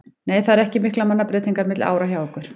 Nei það eru ekki miklar mannabreytingar milli ára hjá okkur.